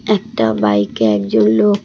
একটা বাইকে একজন লোক--